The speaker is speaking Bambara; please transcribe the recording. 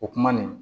O kuma nin